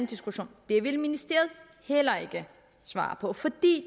diskussion det vil ministeriet heller ikke svare på fordi